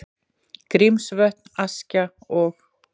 Grímsvötn, Askja og